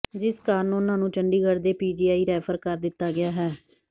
ਜਿਸ ਕਾਰਨ ਉਨ੍ਹਾਂ ਨੂੰ ਚੰਡੀਗੜ੍ਹ ਦੇ ਪੀਜੀਆਈ ਰੈਫਰ ਕਰ ਦਿੱਤਾ ਗਿਆ ਹੈ